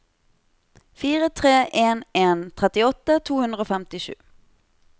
fire tre en en trettiåtte to hundre og femtisju